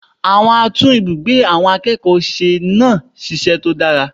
Àwọn atún ibùgbé àwọn akẹ́kọ̀ọ́ se náà sisẹ́ tó dára